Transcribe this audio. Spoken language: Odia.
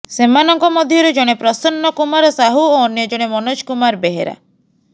ସେମାନଙ୍କ ମଧ୍ୟରୁ ଜଣେ ପ୍ରସନ୍ନ କୁମାର ସାହୁ ଓ ଅନ୍ୟଜଣେ ମନୋଜ କୁମାର ବେହେରା